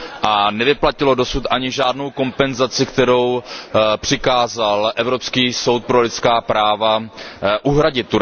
A nevyplatilo dosud ani žádnou kompenzaci, kterou Turecku přikázal Evropský soud pro lidská práva uhradit.